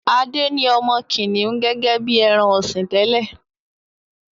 Ade ní ọmọ kìnìún gẹ́gẹ́ bí ẹran-ọ̀sìn tẹ́lẹ̀.